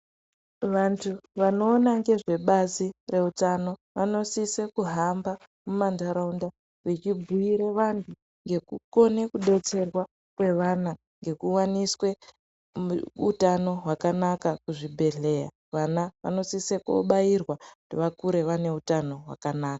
Vantu vanoona ngezveba,i reutano vanosisa kuhamba mumantaraunda vechibhiire vantu ngekukone kudetserwa kwevana ngekuwaniswe utano hwakanaka kuchibhedhleya, vana vanosisa kobairwa kuti vakure vane utano hwakanaka.